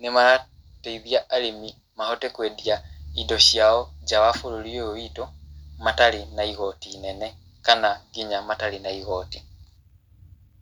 nĩ marateithia arĩmi mahote kwendia indo ciao nja wa bũrũri ũyũ witũ, matarĩ na igoti inene, kana nginya matarĩ na igoti.